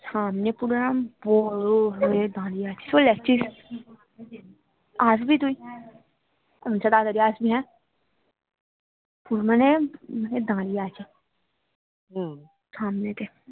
সামনে পুরো এরকম বড়ো হয়ে দাঁড়িয়ে আছে, আসবি তুই আচ্ছা তাড়াতাড়ি আসবি হ্যা মানে দাঁড়িয়ে আছে সামনেটা